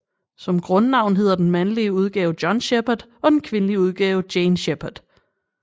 Som grundnavn hedder den mandlige udgave John Shepard og den kvindelige udgave Jane Shepard